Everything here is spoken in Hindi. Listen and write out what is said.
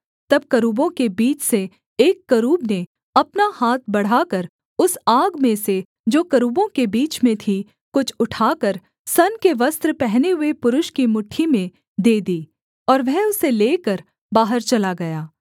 तब करूबों के बीच से एक करूब ने अपना हाथ बढ़ाकर उस आग में से जो करूबों के बीच में थी कुछ उठाकर सन के वस्त्र पहने हुए पुरुष की मुट्ठी में दे दी और वह उसे लेकर बाहर चला गया